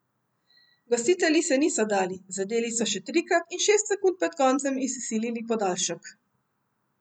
Gostitelji se niso dali, zadeli so še trikrat in šest sekund pred koncem izsilili podaljšek.